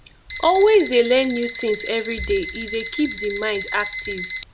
always dey learn new things everyday e dey keep di mind active